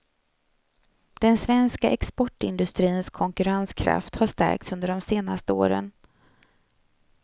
Den svenska exportindustrins konkurrenskraft har stärkts under de senaste åren.